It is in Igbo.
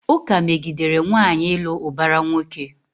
Ụka megidere nwaanyị ịlụ ụbara nwoke.